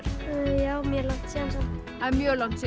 já mjög langt síðan það er mjög langt síðan